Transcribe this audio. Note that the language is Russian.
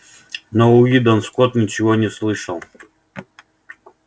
но уидон скотт ничего не слышал